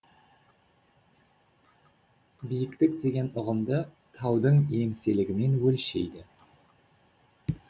биіктік деген ұғымды таудың еңселігімен өлшейді